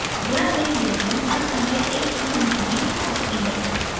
ध्यान दें labeling हर समय एक सी नहीं भी हो सकती है